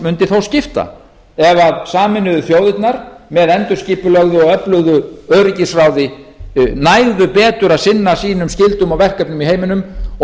mundi þó skipta ef sameinuðu þjóðirnar með endurskipulögðu og öflugu öryggisráði næðu betur að sinna sínum skyldum og verkefnum í heiminum og þyrftu